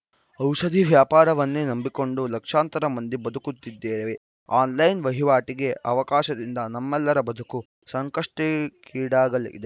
ಔಷಧ ವ್ಯಾಪಾರವನ್ನೇ ನಂಬಿಕೊಂಡು ಲಕ್ಷಾಂತರ ಮಂದಿ ಬದುಕುತ್ತಿದ್ದೇವೆ ಆನ್‌ಲೈನ್‌ ವಹಿವಾಟಿಗೆ ಅವಕಾಶದಿಂದ ನಮ್ಮೆಲ್ಲರ ಬದುಕು ಸಂಕಷ್ಟಕ್ಕೀಡಾಗಲಿದೆ